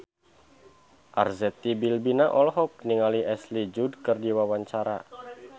Arzetti Bilbina olohok ningali Ashley Judd keur diwawancara